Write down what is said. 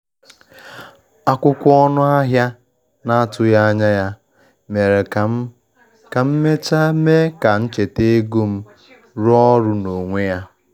Akwụkwọ ọnụ ahịa na-atụghị anya ya mere ka m ka m mechaa mee ka ncheta ego m rụọ ọrụ n'onwe ya.